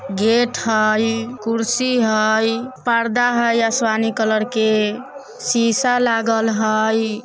गेट हई कुर्सी हई पर्दा हई आसमानी कलर के शीशा लागल हई।